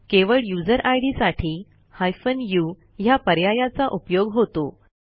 केवळ यूझर इद साठी हायफेन उ ह्या पर्यायाचा उपयोग होतो